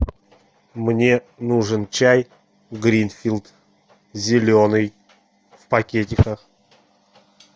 мне нужен чай гринфилд зеленый в пакетиках